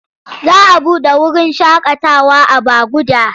Za a buɗe wurin shakatawa a Baguda.